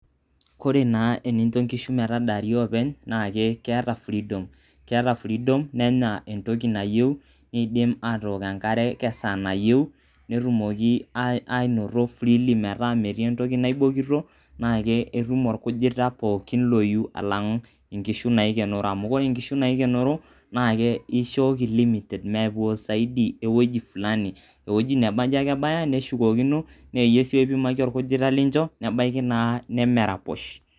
kore taa nincho inkishu metadari openy na keeta freedom keeta freedom nenya entoki nayieu nindim atok enkare tesaa nayieu netumoki anoto freely meeta meti entoki naibokito na ketum olkujita pooki loyieu alangu inkishu naikenero amu ore inkishu naikenero nishoki limited mepuo saidi eweuji fulani eweuji ake nabanji ebaya neshukokino na iyie si naipimaki olkujita lincho nebaiki na nemeraposh.